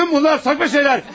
Bütün bunlar saçma şeyler.